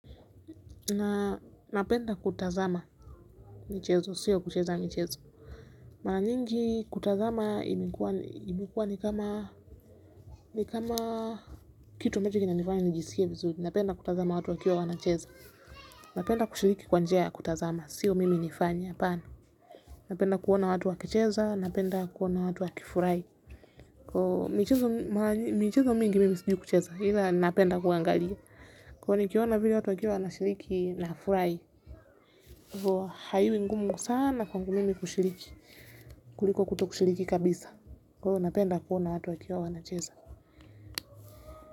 Na napenda kutazama mchezo, siyo kucheza mchezo. Mara nyingi kutazama imekuwa ni kama, kitu ambacho kinanifanya nijisikie vizuri. Napenda kutazama watu wakiwa wanacheza. Napenda kushiriki kwa njia ya kutazama, siyo mimi nifanye. Napenda kuona watu wakicheza, napenda kuona watu wakifurahi. Kwa hiyo mchezo mingi mimi sipendi kucheza, ila napenda kuangalia. Kwa hivyo nikiona vile watu wakiwa wanashiriki nafurahi. Huwa haikuwi ngumu sana kwa mimi kushiriki kuliko kutokushiriki kabisa. Kwa hiyo napenda kuona watu wakiwa wanacheza.